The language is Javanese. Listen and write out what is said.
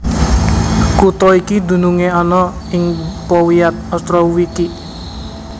Kutha iki dunungé ana ing powiat Ostrowiecki